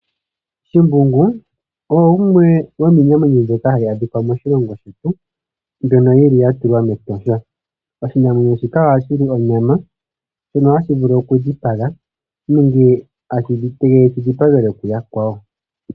Shimbungu oye gumwe gomiinamwenyo mbyoka hayi adhika moshilongo shetu, mbyono yi li ya tulwa mEtosha. Oshinamwenyo shika ohashi li onyama , ohashi vulu oku dhipaga nenge shi dhipagelwe kuyakwawo.